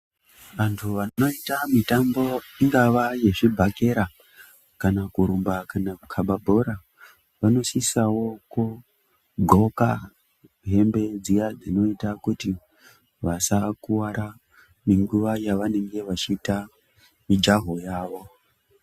Anthu vanoita mitambo ingava yezvibhakera kana kurumba kana kukaba bhora vanosisao kugqoka hembe dziya dzinoita kuti vasakuwara nenguwa yavanenge vachiita mijaho yavo.